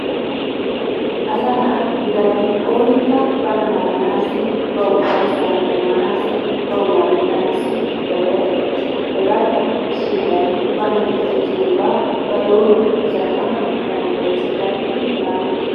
Asaa naa gididabbi onnikka bana naaganaassi, bawu uffayssa demanassi, bawu lamettanassi, zaliyaa zal'ees hegaatan issi izawu bana kesees giyogaa ba doruwan za'alanwu dandayessi za'alidi lamettes.